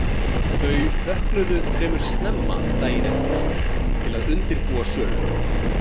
Þau vöknuðu venju fremur snemma daginn eftir til að undirbúa söluna.